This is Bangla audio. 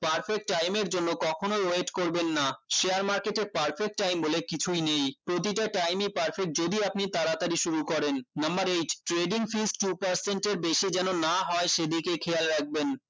perfect time এর জন্য কখনোই wait করবেন না share market এ perfect time বলে কিছুই নেই প্রতিটা time ই perfect যদি আপনি তাড়াতাড়ি শুরু করেন number eight trading fifty percent এর বেশি যেন না হয় সেদিকে খেয়াল রাখবেন